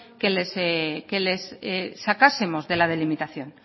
que les sacásemos de la delimitación